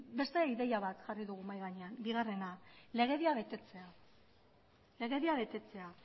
beste ideia bat jarri dugu mahai gainean bigarrena legedia betetzea legedia betetzea